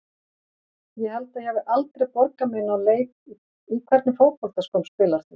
Ég held ég hafi aldrei borgað mig inná leik Í hvernig fótboltaskóm spilar þú?